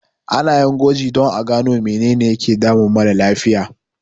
Ana yin gwaji don a san menene yake damun mara lafiya.